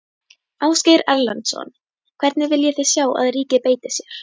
Ásgeir Erlendsson: Hvernig viljið þið sjá að ríkið beiti sér?